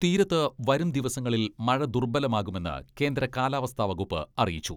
തീരത്ത് വരും ദിവസങ്ങളിൽ മഴ ദുർബ്ബലമാകുമെന്ന് കേന്ദ്ര കാലാവസ്ഥാ വകുപ്പ് അറിയിച്ചു.